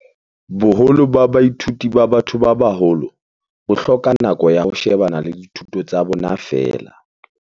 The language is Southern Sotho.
"Boholo ba baithuti ba ba-tho ba baholo bo hloka nako ya ho shebana le dithuto tsa bona feela."